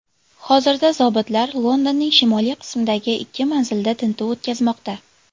Hozirda zobitlar Londonning shimoliy qismidagi ikki manzilda tintuv o‘tkazmoqda.